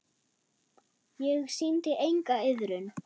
Ég sýndi enga iðrun.